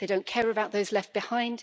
They don't care about those left behind.